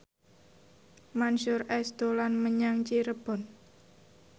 Mansyur S dolan menyang Cirebon